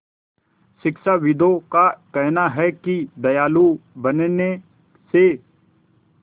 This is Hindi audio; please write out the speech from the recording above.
शिक्षाविदों का कहना है कि दयालु बनने से